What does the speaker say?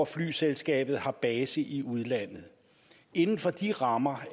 flyselskabet har base i udlandet inden for de rammer